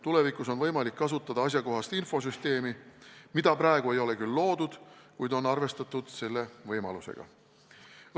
Tulevikus on võimalik kasutada asjakohast infosüsteemi, mida praegu ei ole küll veel loodud, kuid selle võimalusega on arvestatud.